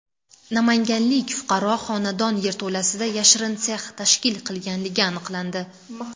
Namanganlik fuqaro xonadon yerto‘lasida yashirin sex tashkil qilganligi aniqlandi.